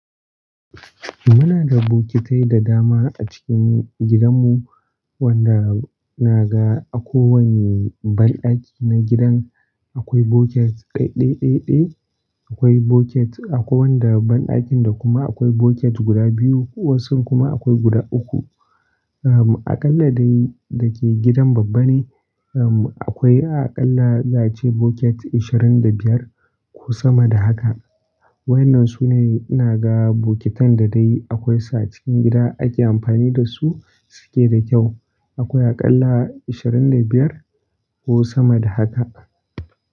Muna da bokitai da dama a cikin gidanmu wanda na ga a kowanne banɗaki na gidan akwai boket ɗaiɗai ɗaiɗai. Akwai boket a kowanda banɗakin da kuma akwai boket guda biyu, wasu kuma akwai guda uku. Ah, aƙalla dai dake gidan babba ne, um, akwai aƙalla zace boket ashirin da biyar ko sama da haka. Waɗannan su ne ina ga bokitan da dai akwai su cikin gida ake amfani da su suke da kyau. Akwai aƙalla ashirin da biyar ko sama da haka.